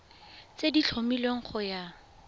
tse di tlhomilweng go ya